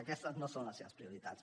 aquestes no són les seves prioritats